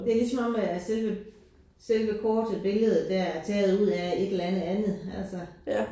Det er ligesom om at at selve selve kortet billedet der er taget ud af et eller andet andet altså